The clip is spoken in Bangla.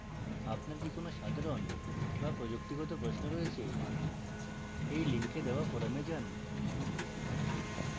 আপনার কি কোন সাধারণ/প্রযুক্তিগত প্রশ্ন রয়েছে এই link দেওয়া forum যান